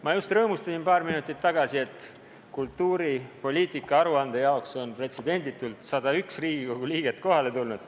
Ma just rõõmustasin paar minutit tagasi, et kultuuripoliitika aruande kuulamiseks on pretsedenditult 101 Riigikogu liiget kohale tulnud.